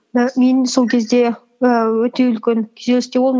і мен сол кезде і өте үлкен күйзелісте болдым